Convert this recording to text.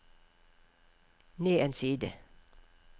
ned en side